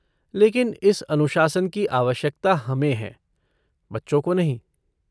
लेकिन इस अनुशासन की आवश्यकता हमें है, बच्चों को नहीं।